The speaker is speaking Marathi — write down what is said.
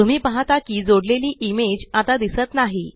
तुम्ही पाहत की जोडलेली इमेज आता दिसत नाही